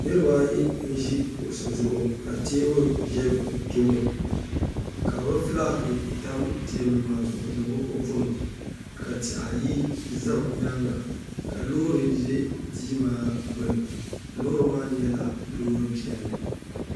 niriba ayi n ʒi kuɣusi zuɣu ka teebuli ʒe bɛ tooni ka bɛ fulaaki tam teebuli maa zuɣu ni bɛ kɔpunima ka tihi ayi za bɛ nyaaŋa ka loori ʒe tia maa gbuni loori maa nyɛla loor’ piɛlli